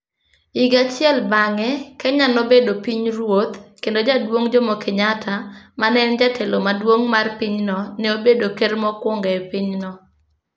Higa achiel bang'e, Kenya nobedo pinyruoth, kendo Jaduong Jomo Kenyatta ma ne en jatelo maduong ' mar pinyno, ne obedo ker mokwongo e pinyno.